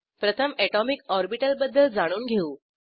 प्रथम atomic orbital बद्दल जाणून घेऊ